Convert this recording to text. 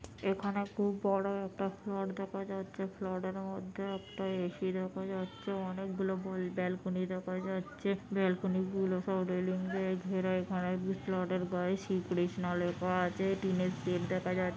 এখানে খুব বড় একটা ফ্লড দেখা যাচ্ছে ফ্লড এর মধ্যে একটা এ.সি দেখা যাচ্ছে অনেক গুলি বল ব্যালকনি দেখা যাচ্ছে ব্যালকনিগুলো সব রেলিং দিয়ে ঘেরা এখানে ফ্লড এর গায়ে শ্রীকৃষ্ণ লেখা আছে টিনের সেট দেখা যাচ্ছে |